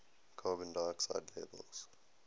carbon dioxide levels